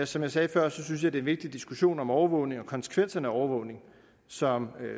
som jeg sagde før synes jeg det er en vigtig diskussion om overvågning og konsekvenserne af overvågning som